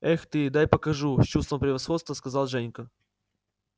эх ты дай покажу с чувством превосходства сказал женька